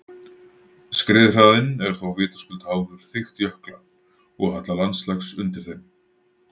Skriðhraðinn er þó vitaskuld háður þykkt jökla og halla landslags undir þeim.